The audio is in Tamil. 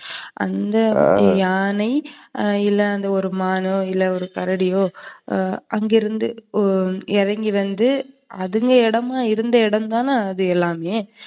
அந்த யானை, இல்ல ஒரு மானோ, ஒரு கரடியோ வந்து அங்க இருந்து இறங்கி வந்து அதுக இடமா இருந்ததுதான அது எல்லாமே